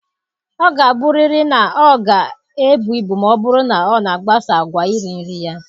Ọ ga-abụrịrị na ọ ga-ebu ibu ma ọ bụrụ na ọ na-agbaso àgwà iri nri ya